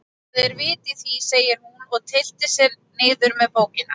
Það er vit í því, segir hún og tyllir sér niður með bókina.